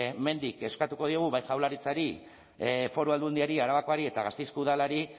hemendik eskatuko diogu bai jaurlaritzari foru aldundiari arabakoari eta gasteizko udalari